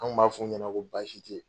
An kun b'a f'u ɲɛna ko baasi tɛ yen.